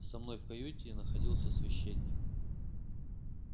со мной в каюте находился священник